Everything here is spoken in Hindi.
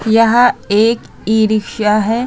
यह एक इ-रिक्सा है।